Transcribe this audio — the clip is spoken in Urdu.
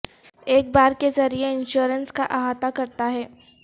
ایک بار کے ذریعہ انشورنس کا احاطہ کرتا ہے